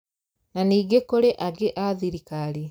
Na ningĩ kũrĩ angĩ a thirikari